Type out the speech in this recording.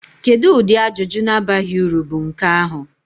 Kedu ụdị ajụjụ na-abaghị uru bụ nke ahụ?